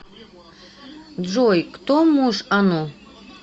джой кто муж ану